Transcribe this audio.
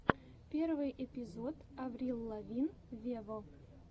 первый эпизод аврил лавин вево